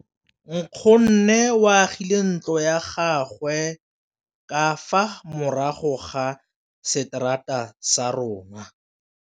Nkgonne o agile ntlo ya gagwe ka fa morago ga seterata sa rona.